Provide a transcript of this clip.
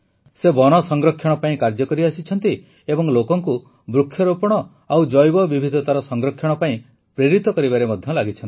ସେ ବନ ସଂରକ୍ଷଣ ପାଇଁ କାର୍ଯ୍ୟ କରିଆସିଛନ୍ତି ଏବଂ ଲୋକଙ୍କୁ ବୃକ୍ଷରୋପଣ ଓ ଜୈବବିବିଧତାର ସଂରକ୍ଷଣ ପାଇଁ ପ୍ରେରିତ କରିବାରେ ମଧ୍ୟ ଲାଗିଛନ୍ତି